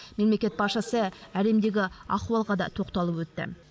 мемлекет басшысы әлемдегі ахуалға да тоқталып өтті